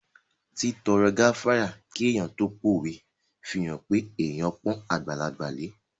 Títọrọ gáfárà kí èèyàn tó pówe fihàn pé èèyàn pọ́n àgbàlagbà lẹ